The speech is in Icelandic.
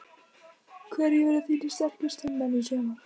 Hverjir verða þínir sterkustu menn í sumar?